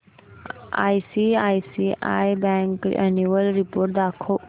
ICICI bank annual report दाखव